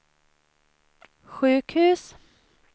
sjukhus